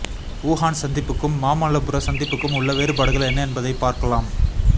Wuhan சந்திப்புக்கும் மாமல்லபுர சந்திப்புக்கும் உள்ள வேறுபாடுகள் என்ன என்பதை பார்க்கலாம்